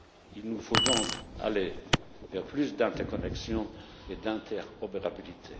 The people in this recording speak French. Il nous faut donc aller vers plus d'interconnexion et d'interopérabilité.